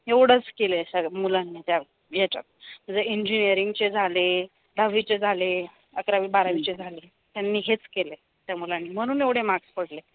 एवढच केलय स मुलांनी त्या याच्यात म्हणजे enginnering चे झाले दहावीचे झाले, अकरावी, बारावीचे झाले यांनी हेच केलंय त्या मुलांनी म्हणून एवढे marks पडले